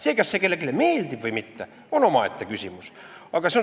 See, kas see kellelegi meeldib või mitte, on omaette küsimus.